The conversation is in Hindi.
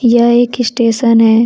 यह एक स्टेशन है।